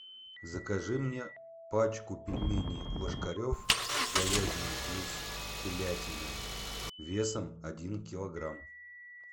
закажи мне пачку пельменей ложкарев говядина плюс телятина весом один килограмм